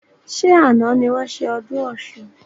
Ṣé àna ni wọn ṣe ọdún Ọ̀sun?